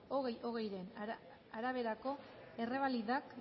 bi mila hogeiren araberako errebalidak